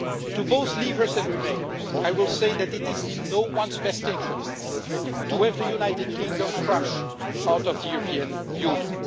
To both leavers and remainers, I will say that it is in no-one's best interest to have the United Kingdom crash out of the European Union.